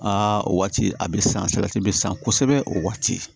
Aa waati a be san salati be san kosɛbɛ o waati